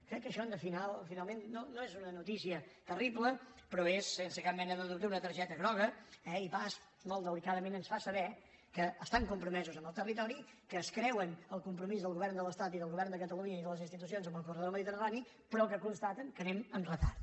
crec que això finalment no és una notícia terrible però és sense cap mena de dubte una targeta groga eh i basf molt delicadament ens fa saber que estan compromesos amb el territori que es creuen el compromís del govern de l’estat i del govern de catalunya i de les institucions amb el corredor mediterrani però que constaten que anem amb retard